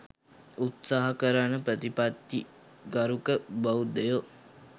උත්සාහ කරන ප්‍රතිපත්ති ගරුක බෞද්ධයෝ